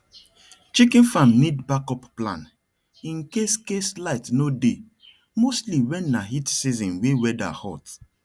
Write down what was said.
chicken farm need backup plan in case case light no dey mostly when na heat season wey weather hot